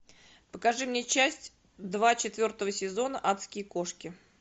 покажи мне часть два четвертого сезона адские кошки